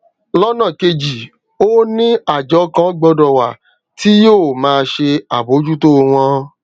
lọnà kejì ó ní àjọ kan gbọdọ wà tí yóò máa ṣe àbójútó wọn